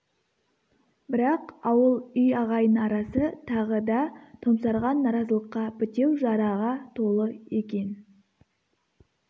бірақ ауыл үй ағайын арасы тағы да томсарған наразылыққа бітеу жараға толы екен